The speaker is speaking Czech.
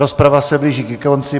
Rozprava se blíží ke konci.